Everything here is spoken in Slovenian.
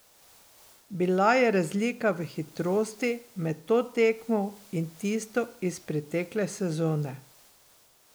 Bila je razlika v hitrosti med to tekmo in tisto iz pretekle sezone.